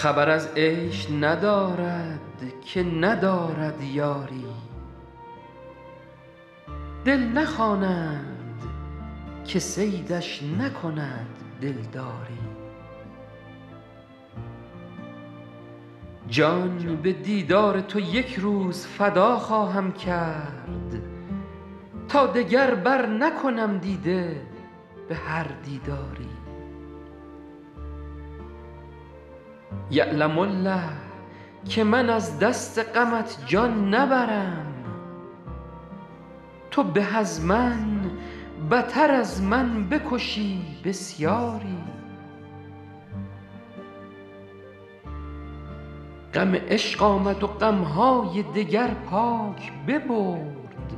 خبر از عیش ندارد که ندارد یاری دل نخوانند که صیدش نکند دلداری جان به دیدار تو یک روز فدا خواهم کرد تا دگر برنکنم دیده به هر دیداری یعلم الله که من از دست غمت جان نبرم تو به از من بتر از من بکشی بسیاری غم عشق آمد و غم های دگر پاک ببرد